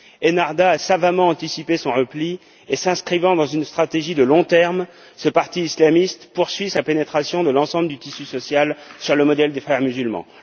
Ennahdha a savamment anticipé son repli et, s'inscrivant dans une stratégie à long terme, ce parti islamiste poursuit sa pénétration de l'ensemble du tissu social, sur le modèle des Frères musulmans.